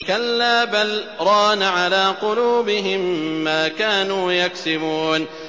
كَلَّا ۖ بَلْ ۜ رَانَ عَلَىٰ قُلُوبِهِم مَّا كَانُوا يَكْسِبُونَ